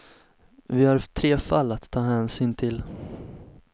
Vi har tre fall att ta hänsyn till.